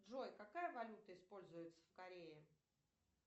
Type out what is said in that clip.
джой какая валюта используется в корее